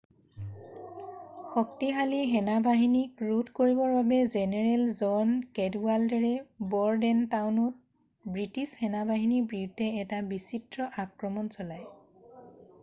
শক্তিশালী সেনাবাহনীক ৰোধ কৰিবৰ বাবে জেনেৰেল জন কেডৱাল্ডাৰে ব'ৰডেনটাউনত বৃষ্টিছ সেনা-বাহিনীৰ বিৰুদ্ধে এটা বিচিত্ৰ আক্ৰমণ চলায়